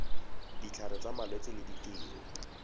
ditlhare tsa malwetse le ditiro